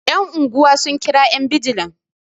yan' unguwa sun kira yan bijila